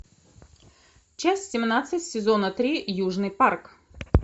часть семнадцать сезона три южный парк